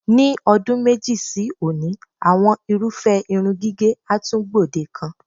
Ní o̩dún méjì sí òní, àwo̩n irúfé̩ irun gígè̩ á tún gbòdekan.